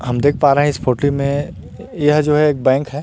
हम देख पा रहे हैं इस फोटो में यह जो है एक बैंक है।